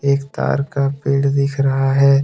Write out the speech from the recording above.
एक तार का पेड़ दिख रहा है।